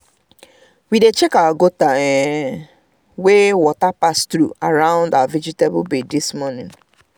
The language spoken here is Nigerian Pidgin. we dey check our gutter um wey water dey pass through around um our vegetable bed this morning